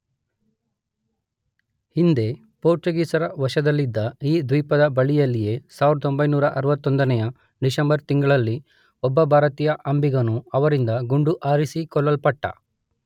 ಹಿಂದೆ ಪೋರ್ಚುಗೀಸರ ವಶದಲ್ಲಿದ್ದ ಈ ದ್ವೀಪದ ಬಳಿಯಲ್ಲಿಯೇ 1961ನೆಯ ಡಿಸೆಂಬರ್ ತಿಂಗಳಲ್ಲಿ ಒಬ್ಬ ಭಾರತೀಯ ಅಂಬಿಗನು ಅವರಿಂದ ಗುಂಡು ಹಾರಿಸಿ ಕೊಲ್ಲಲ್ಪಟ್ಟ.